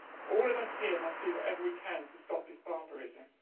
All of us here must do whatever we can to stop this barbarism.